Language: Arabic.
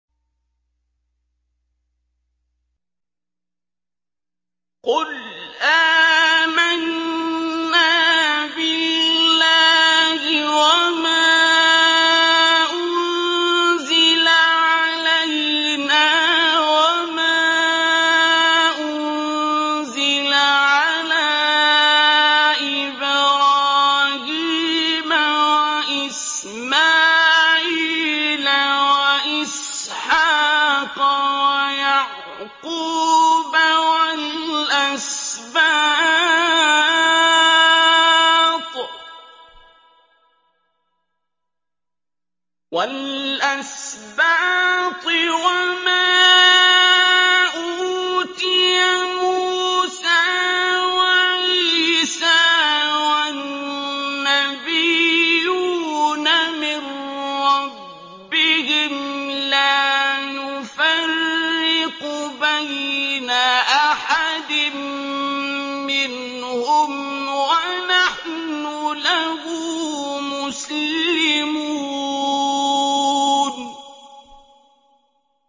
قُلْ آمَنَّا بِاللَّهِ وَمَا أُنزِلَ عَلَيْنَا وَمَا أُنزِلَ عَلَىٰ إِبْرَاهِيمَ وَإِسْمَاعِيلَ وَإِسْحَاقَ وَيَعْقُوبَ وَالْأَسْبَاطِ وَمَا أُوتِيَ مُوسَىٰ وَعِيسَىٰ وَالنَّبِيُّونَ مِن رَّبِّهِمْ لَا نُفَرِّقُ بَيْنَ أَحَدٍ مِّنْهُمْ وَنَحْنُ لَهُ مُسْلِمُونَ